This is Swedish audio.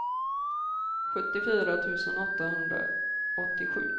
sjuttiofyra tusen åttahundraåttiosju